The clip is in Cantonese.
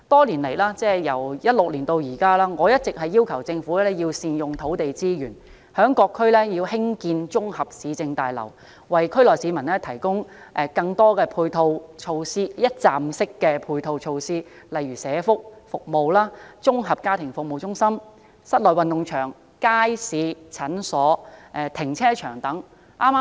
由2016年至今，我一直要求政府要善用土地資源，在各區興建綜合市政大樓，為區內市民提供更多一站式的配套措施，例如社區託管服務、綜合家庭服務中心、室內運動場、街市、診所、停車場等。